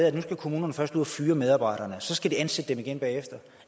at nu skal kommunerne først ud og fyre medarbejdere og så skal de ansætte dem igen bagefter